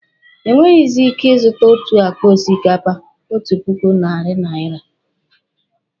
Enweghizi ike ị zụta otu akpa osikapa otu puku narị naira.